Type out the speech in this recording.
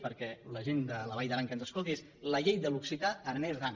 perquè la gent de la vall d’aran que ens escolti aquesta és la llei de l’occità aranèsaran